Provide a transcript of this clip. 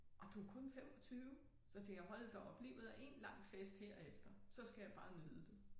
Og du kun 25 så tænkte jeg hold da op livet er én lang fest herefter så skal jeg bare nyde det